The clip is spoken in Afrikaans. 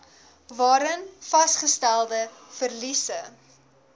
waarin vasgestelde verliese